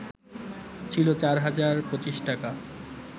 ছিল ৪ হাজার ২৫ টাকা